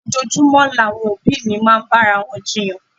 Ojoojúmọ́ làwọn òbí mi máa ń bára wọn jiyàn.